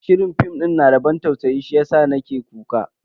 Shirin fim din yana da ban tausayi ne shiyasa nake kuka.